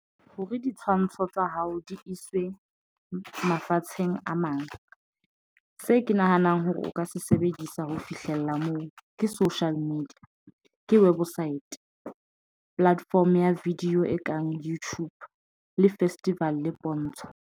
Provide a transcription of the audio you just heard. Hore ditshwantsho tsa hao di iswe mafatsheng a mang, se ke nahanang hore o ka se sebedisa ho fihlella moo ke social media ke website platform ya video e kang YouTube le festival pontsho.